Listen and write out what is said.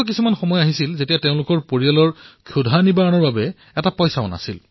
কিমানবাৰ এনে হৈছে যে তেওঁলোকৰ খাবলৈও টকা নাই